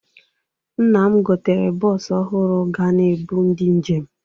Nna m gotere bọọsụ ọhụrụ ga na-ebu ndị njem.